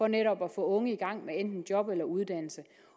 netop at få unge i gang med enten job eller uddannelse